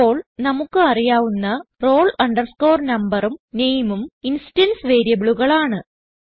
ഇപ്പോൾ നമുക്ക് അറിയാവുന്ന roll numberഉം nameഉം ഇൻസ്റ്റൻസ് വേരിയബിളുകളാണ്